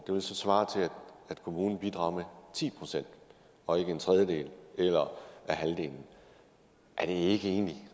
det vil så svare til at kommunen bidrager ti procent og ikke en tredjedel eller halvdelen er det egentlig